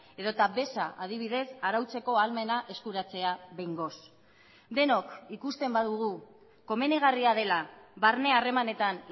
edota beza adibidez arautzeko ahalmena eskuratzea behingoz denok ikusten badugu komenigarria dela barne harremanetan